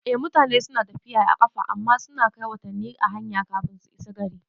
Eh, mutane suna tafiya da ƙafa amma suna kai watanni a hanya kafin su isa gari